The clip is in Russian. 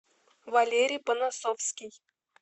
валерий понасовский